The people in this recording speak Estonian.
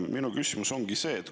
Minu küsimus on selline.